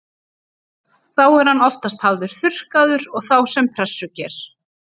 Þá er hann oftast hafður þurrkaður og þá sem pressuger.